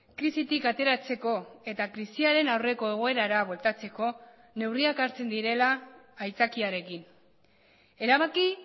krisitik ateratzeko eta krisiaren aurreko egoerara bueltatzeko neurriak hartzen direla aitzakiarekin erabaki